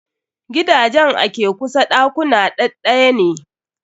Gidajen a ke kusa ɗakuna ɗaɗɗaya ne.